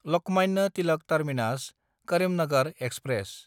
Lokmanya Tilak टार्मिनास–करिमनगर express